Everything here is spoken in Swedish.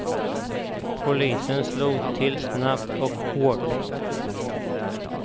Polisen slog till snabbt och hårt.